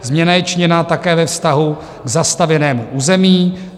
Změna je činěna také ve vztahu k zastavěnému území.